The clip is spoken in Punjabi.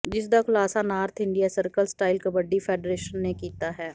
ਜਿਸਦਾ ਖੁਲਾਸਾ north India circle style kabaddi federation ਨੇ ਕੀਤਾ ਹੈ